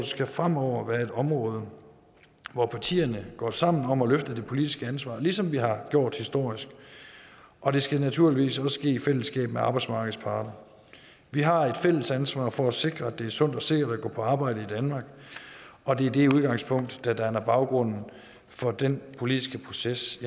skal fremover være et område hvor partierne går sammen om at løfte det politiske ansvar ligesom vi har gjort historisk og det skal naturligvis også ske i fællesskab med arbejdsmarkedets parter vi har et fælles ansvar for at sikre at det er sundt og sikkert at gå på arbejde i danmark og det er det udgangspunkt der danner baggrund for den politiske proces